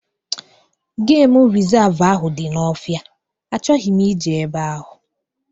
Geem resavu ahụ dị n'ofia, achọghị m ije ebe ahu